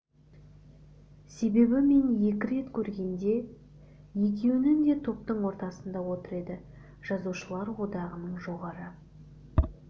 себебі мен екі рет көргенде екеуінде де топтың ортасында отыр еді жазушылар одағының жоғары